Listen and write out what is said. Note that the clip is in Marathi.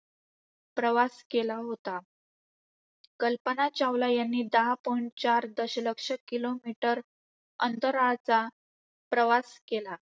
प्रवास केला होता. कल्पना चावला यांनी दहा point चार दशलक्ष किमी दहा दशलक्ष मैल अंतराचा प्रवास केला.